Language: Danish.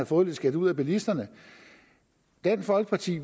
få lidt skæld ud af bilisterne dansk folkeparti